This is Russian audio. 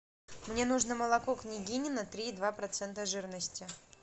мне нужно молоко княгинино три и два процента жирности